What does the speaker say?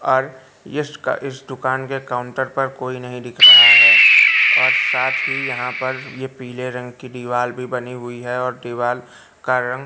और इसका इस दुकान के काउंटर पर कोई नहीं दिख रहा है और साथ ही यहां पर ये पीले रंग की दीवाल भी बनी हुई है और दीवाल का रंग--